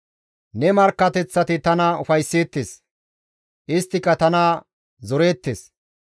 Ne markkateththati tana ufaysseettes; isttika tana zoreettes.